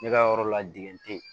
Ne ka yɔrɔ la dingɛ tɛ yen